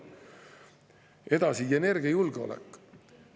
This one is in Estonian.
Edasi, energiajulgeolek.